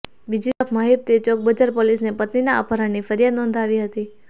બીજીતરફ મહિપતે ચોકબજાર પોલીસને પત્નીના અપહરણની ફરિયાદ નોંધાવી હતી